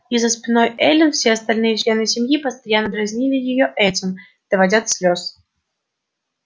и за спиной эллин все остальные члены семьи постоянно дразнили её этим доводя до слёз